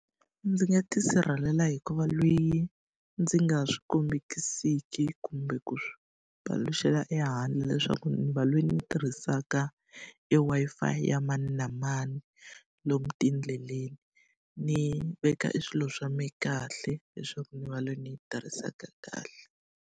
Ndzi nga ti sirhelela hi ku va loyi ndzi nga swi kombekisiki kumbe ku paluxela ehandle leswaku ni va loyi ni tirhisaka e Wi-Fi ya mani na mani lomu tindleleni. Ni veka e swilo swa mina kahle, leswaku ni va leyi ni yi tirhisaka kahle.